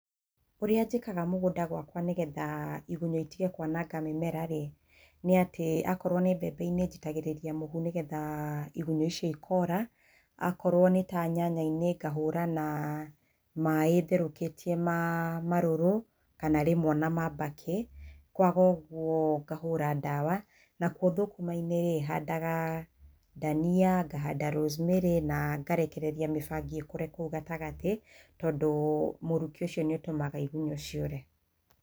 Ũria njĩkaga mũgũnda-inĩ gwakwa nĩgetha igunyũ itige kũananga mĩmera rĩ, nĩ atĩ, akorowo nĩ mbembe-inĩ njitagĩrĩria mũhu nĩgetha igunyũ icio ikora. Akorwo nĩ ta nyanya-inĩ ngahũra na maaĩ therũkĩtie ma marũrũ kana rĩmwe o na ma mbakĩ. Kwaga ũguo ngahũra ndawa. Nakuo thũkũma-inĩ rĩ, handaga ndania, ngahanda rosemary, na ngarekereria mĩbangi ĩkũre kũu gatagatĩ tondũ mũrukĩ ũcio nĩ ũtũmaga igunyũ ciũre.